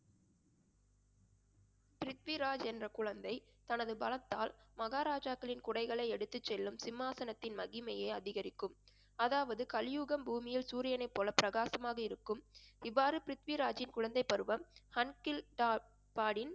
பிரித்விராஜ் என்ற குழந்தை தனது பலத்தால் மகாராஜாக்களின் குடைகளை எடுத்துச் செல்லும் சிம்மாசனத்தின் மகிமையை அதிகரிக்கும். அதாவது கலியுகம் பூமியில் சூரியனைப் போல பிரகாசமாக இருக்கும் இவ்வாறு பிரித்விராஜின் குழந்தைப்பருவம்